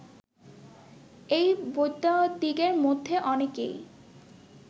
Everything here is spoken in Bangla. এই বৈদ্যদিগের মধ্যে অনেকেই